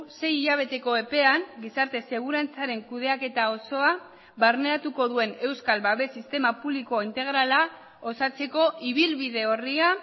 sei hilabeteko epean gizarte segurantzaren kudeaketa osoa barneratuko duen euskal babes sistema publiko integrala osatzeko ibilbide orria